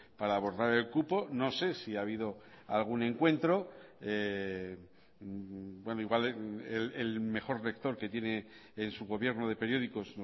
para abordar el cupo no sé si ha habido algún encuentro igual el mejor lector que tiene en su gobierno de periódicos